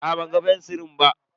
Aa ban ga fensiri na ba.